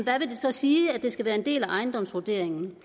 sige at det skal være en del af ejendomsvurderingen